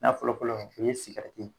N'a fɔlɔ fɔlɔ o ye